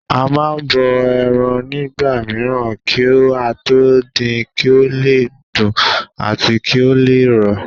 A má n bọ ẹran nígbà mìíràn kí á tó din kí ó le dùn àti kí ó le rọ̀